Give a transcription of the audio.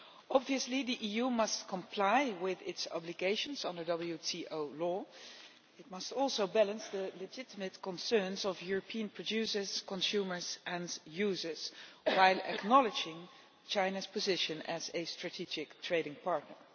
Obviously the EU must comply with its obligations under WTO law, but it must also balance the legitimate concerns of European producers, consumers, and users, while acknowledging China's position as a strategic trading partner.